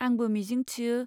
आंबो मिजिं थियो।